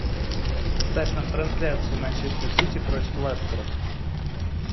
ставь нам трансляцию манчестер сити против лестера